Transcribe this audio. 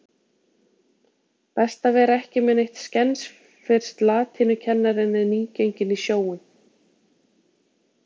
Best að vera ekki með neitt skens fyrst latínukennarinn er nýgenginn í sjóinn.